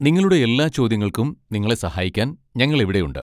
നിങ്ങളുടെ എല്ലാ ചോദ്യങ്ങൾക്കും നിങ്ങളെ സഹായിക്കാൻ ഞങ്ങൾ ഇവിടെയുണ്ട്.